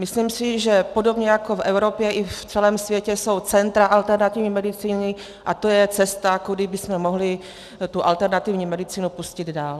Myslím si, že podobně jako v Evropě, i v celém světě jsou centra alternativní medicíny, a to je cesta, kudy bychom mohli tu alternativní medicínu pustit dál.